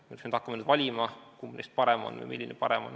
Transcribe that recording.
Me oleks pidanud hakkama valima, kumb või milline parem on.